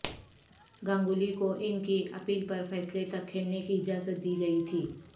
گنگولی کو ان کی اپیل پر فیصلے تک کھیلنے کی اجازت دی گئی تھی